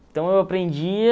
Então, eu aprendia